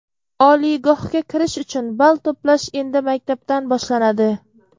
Oliygohga kirish uchun ball to‘plash endi maktabdan boshlanadi.